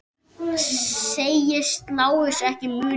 Segist Lárus ekki muna það.